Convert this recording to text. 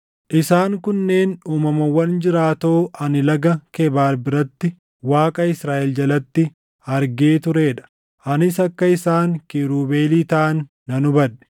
Isaan kunneen uumamawwan jiraatoo ani Laga Kebaar biratti Waaqa Israaʼel jalatti argee turee dha; anis akka isaan kiirubeelii taʼan nan hubadhe.